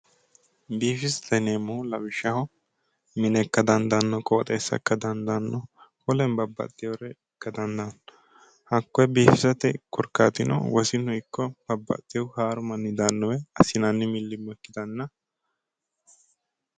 Biifisate yineemmohu lawishshaho mine ikka dandaano qoxeessa ikka dandaano wolere babbaxewore ikka dandaano hakkoe biifisate korkaati noohu wosinu ikko babbaxeyo jajjabbu manni daano woyte assinanni milimi'lo ikkittanna